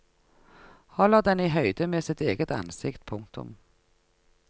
Holder den i høyde med sitt eget ansikt. punktum